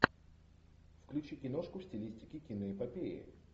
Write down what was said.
включи киношку в стилистике киноэпопеи